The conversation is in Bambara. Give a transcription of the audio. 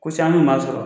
Ko caman bɛ maa sɔrɔ